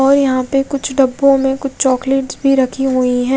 और यहाँ पे कुछ डब्बो में कुछ चॉकलेट्स भी रखी हुयी है।